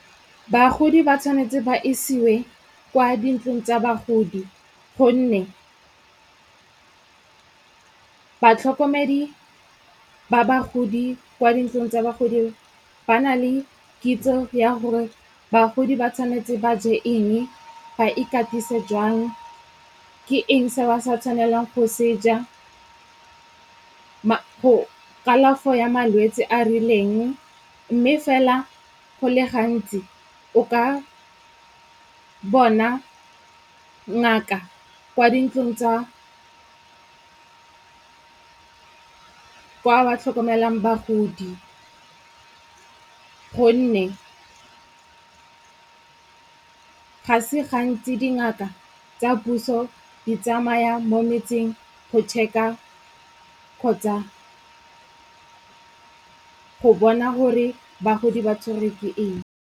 Bagodi ba tshwanetse ba isiwe kwa dintlong tsa bagodi gonne batlhokomedi ba bagodi kwa dintlong tsa bagodi ba na le kitso ya gore bagodi ba tshwanetse ba je eng, ba ikatise jwang, ke eng se ba sa tshwanelang go seja, kalafo ya malwetse a rileng. Mme fela go le gantsi, o ka bona ngaka kwa dintlong tsa kwa ba tlhokomelang bagodi. Gonne, ga se gantsi dingaka tsa puso di tsamaya mo metseng go check-a kgotsa go bona gore bagodi ba tshwerwe ke eng.